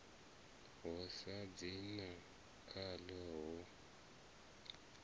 ho sa dzinga khaḽo ho